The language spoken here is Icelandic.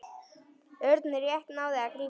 Örn rétt náði að grípa.